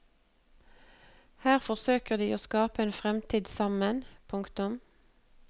Her forsøker de å skape en fremtid sammen. punktum